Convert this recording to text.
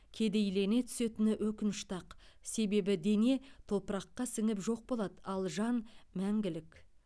кедейлене түсетіні өкінішті ақ себебі дене топыраққа сіңіп жоқ болады ал жан мәңгілік